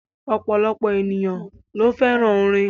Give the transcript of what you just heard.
Ọ̀pọ̀lọpọ̀ ènìyàn ló fẹ́ràn orin.